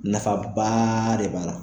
Nafabaaaa de b'a la.